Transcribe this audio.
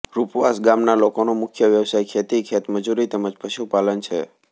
રૂપવાસ ગામના લોકોનો મુખ્ય વ્યવસાય ખેતી ખેતમજૂરી તેમ જ પશુપાલન છે